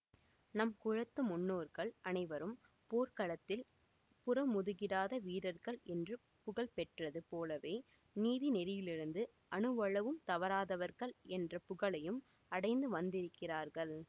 நம் குலத்து முன்னோர்கள் அனைவரும் போர்க்களத்தில் புறமுதுகிடாத வீரர்கள் என்று புகழ் பெற்றது போலவே நீதி நெறியிலிருந்து அணுவளவும் தவறாதவர்கள் என்ற புகழையும் அடைந்து வந்திருக்கிறார்கள்